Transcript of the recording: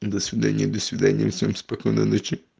до свидания до свидания всем спокойной ночи